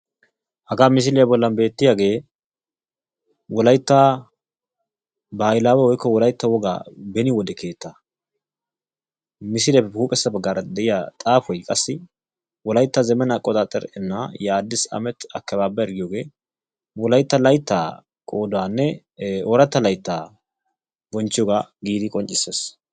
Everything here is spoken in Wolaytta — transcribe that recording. Hagaa misiliya bollan beettiyagee wolaytta baahilaawe/wolaytta wogaa beni wode keettaa. Misiliyappe huuphessa baggaara de'iya xaafoy qassi wolaytta zemen aqqoxaaxxer innaa ye aaddiis amet akkebbaabber giyogee wolaytta layttaa qoodaanne ooratta layttaa bonchchiyogaa giidi qonccissees.